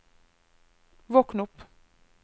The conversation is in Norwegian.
våkn opp